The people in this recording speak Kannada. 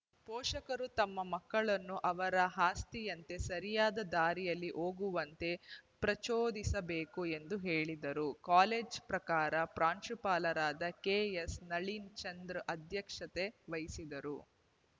ಪೋಷಕರು ತಮ್ಮ ಮಕ್ಕಳನ್ನು ಅವರ ಆಸ್ತಿಯಂತೆ ಸರಿಯಾದ ದಾರಿಯಲ್ಲಿ ಹೋಗುವಂತೆ ಪ್ರಚೋದಿಸಬೇಕು ಎಂದು ಹೇಳಿದರು ಕಾಲೇಜಿನ ಪ್ರಭಾರ ಪ್ರಾಂಶುಪಾಲರಾದ ಕೆ ಎಸ್‌ ನಳೀನ್‌ ಚಂದ್ರ ಅಧ್ಯಕ್ಷತೆ ವಹಿಸಿದ್ದರು